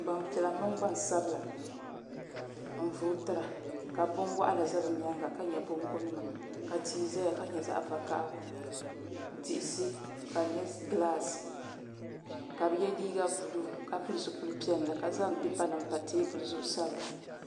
Gbampiɛla mini gbansabla n vootira ka binwaɣinli za bɛ nyaanga ka nyʋ bongo nima ka tia zaya ka nyɛ vakahali diɣisi ka di nyɛ gilaasi ka bɛ ye liiga buluu ka pili zipil'piɛlli ka zaŋ pipa nima pa teebuli zuɣu sabira.